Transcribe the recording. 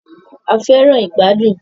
A fẹràn ìgbàdùn.